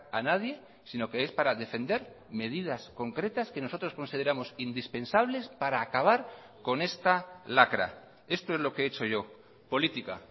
a nadie sino que es para defender medidas concretas que nosotros consideramos indispensables para acabar con esta lacra esto es lo que he hecho yo política